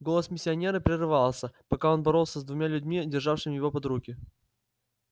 голос миссионера прерывался пока он боролся с двумя людьми державшими его под руки